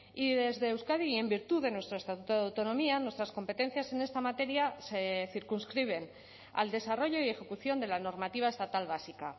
y desde euskadi y en virtud de nuestro estatuto de autonomía nuestras competencias en esta materia se circunscriben al desarrollo y ejecución de la normativa estatal básica